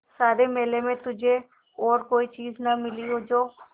सारे मेले में तुझे और कोई चीज़ न मिली जो